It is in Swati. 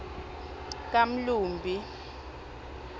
kamlumbi